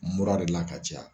Mura de la ka ca ya.